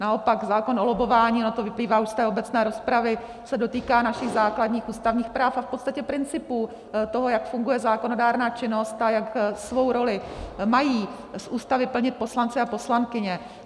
Naopak, zákon o lobbování, ono to vyplývá už z té obecné rozpravy, se dotýká našich základních ústavních práv a v podstatě principů toho, jak funguje zákonodárná činnost a jak svou roli mají z Ústavy plnit poslanci a poslankyně.